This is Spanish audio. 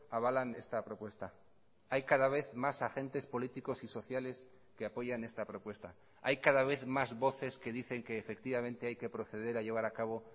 avalan esta propuesta hay cada vez más agentes políticos y sociales que apoyan esta propuesta hay cada vez más voces que dicen que efectivamente hay que proceder a llevar a cabo